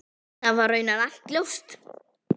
Það var raunar alltaf ljóst.